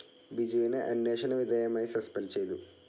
ബിജുവിനെ അന്വേഷണ വിധേയമായി സസ്പെൻഡ്‌ ചെയ്തു.